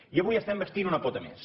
i avui n’estem bastint una pota més